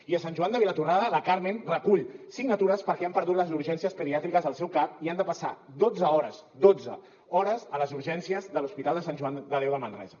i a sant joan de vilatorrada la carmen recull signatures perquè han perdut les urgències pediàtriques al seu cap i han de passar dotze hores dotze hores a les urgències de l’hospital de sant joan de déu de manresa